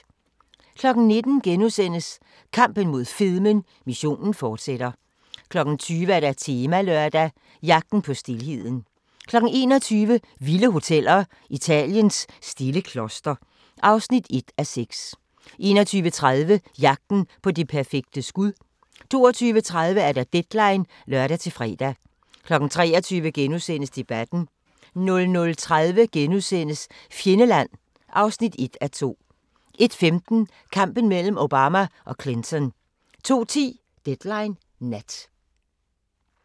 19:00: Kampen mod fedmen - missionen fortsætter * 20:00: Temalørdag: Jagten på stilheden 21:00: Vilde hoteller - Italiens stille kloster (1:6) 21:30: Jagten på det perfekte skud 22:30: Deadline (lør-fre) 23:00: Debatten * 00:30: Fjendeland (1:2)* 01:15: Kampen mellem Obama og Clinton 02:10: Deadline Nat